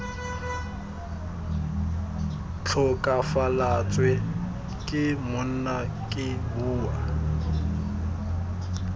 tlhokafalatswe ke monna ke bua